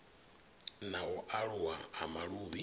na u aluwa ha maluvhi